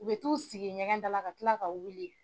U bɛ t'u sigi ɲɛgɛnda la ka kila ka wuli.